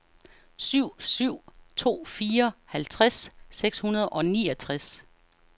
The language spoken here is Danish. syv syv to fire halvtreds seks hundrede og niogtres